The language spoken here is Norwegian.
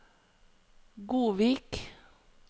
Godvik